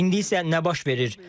İndi isə nə baş verir?